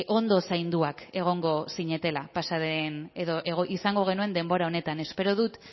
ondo zainduak egongo zinetela pasa den edo izango genuen denbora honetan espero dut